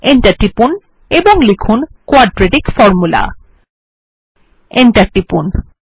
Enter টিপুন এবং লিখুন কোয়াড্রেটিক Formula Enter টিপুন